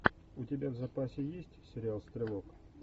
у тебя в запасе есть сериал стрелок